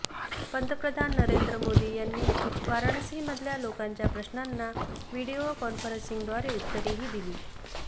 पंतप्रधान नरेंद्र मोदी यांनी वाराणसी मधल्या लोकांच्या प्रश्नांना व्हीडिओ कॉन्फरन्सिंगद्वारे उत्तरेही दिली